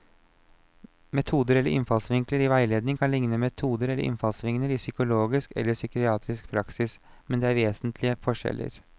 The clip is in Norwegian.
Metoder eller innfallsvinkler i veiledning kan likne metoder eller innfallsvinkler i psykologisk eller psykiatrisk praksis, men det er vesentlige forskjeller.